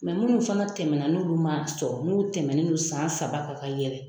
minnu fana tɛmɛnɛna n'olu ma sɔrɔ n'u tɛmɛnen non san saba kan ka yɛlɛn